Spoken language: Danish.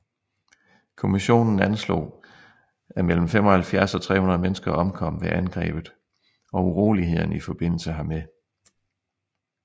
Kommissionen anslog at mellem 75 og 300 mennesker omkom ved angrebet og urolighederne i forbindelse hermed